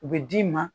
U bɛ d'i ma